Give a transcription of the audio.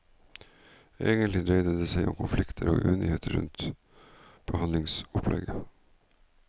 Egentlig dreide det seg om konflikter og uenighet rundt behandlingsopplegget.